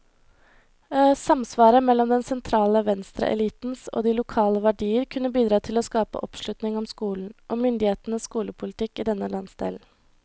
Samsvaret mellom den sentrale venstreelitens og de lokale verdier kunne bidra til å skape oppslutning om skolen, og myndighetenes skolepolitikk i denne landsdelen.